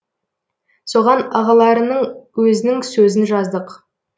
соған ағаларының өзінің сөзін жаздық